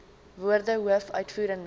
woorde hoof uitvoerende